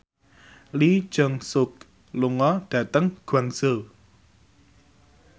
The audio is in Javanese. Lee Jeong Suk lunga dhateng Guangzhou